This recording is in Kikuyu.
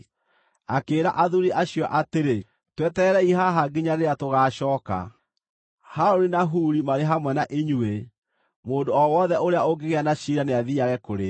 Akĩĩra athuuri acio atĩrĩ, “Twetererei haha nginya rĩrĩa tũgaacooka. Harũni na Huri marĩ hamwe na inyuĩ, mũndũ o wothe ũrĩa ũngĩgĩa na ciira nĩathiiage kũrĩ o.”